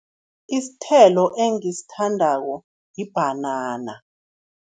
Isithelo engisithandako yibhanana.